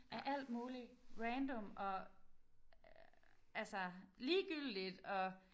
Af alt mulig random og altså ligegyldigt og